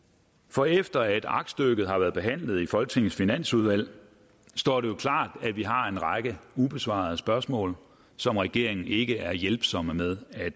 for efter at aktstykket har været behandlet i folketingets finansudvalg står det jo klart at vi har en række ubesvarede spørgsmål som regeringen ikke er hjælpsomme med at